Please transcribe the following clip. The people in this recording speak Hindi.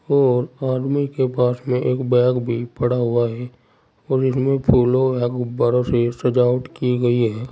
और आदमी के पास में एक बैग भी पडा़ हुआ है और इसमें फूलों या गुब्बारों से सजावट की गई है।